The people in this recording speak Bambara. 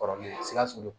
Kɔrɔlen sikaso